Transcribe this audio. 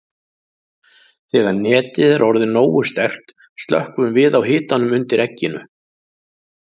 Þegar netið er orðið nógu sterkt slökkvum við á hitanum undir egginu.